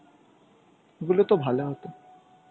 ওগুলো তো ভালো হত.